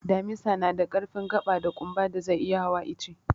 Damisa na da ƙarfin gaɓa da ƙumba da zai iya hawa ice.